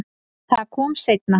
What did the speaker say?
Það kom seinna